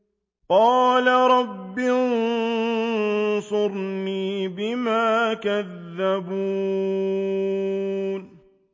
قَالَ رَبِّ انصُرْنِي بِمَا كَذَّبُونِ